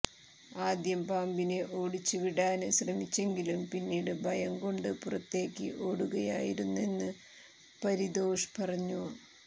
ആദ്യം പാമ്പിനെ ഓടിച്ചുവിടാന് ശ്രമിച്ചെങ്കിലും പിന്നീട് ഭയം കൊണ്ട് പുറത്തേക്ക് ഓടുകയായിരുന്നെന്ന് പരിതോഷ് പറഞ്ഞു